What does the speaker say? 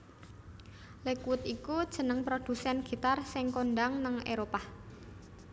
Lakewood iku jeneng produsèn gitar sing kondhang nèng Éropah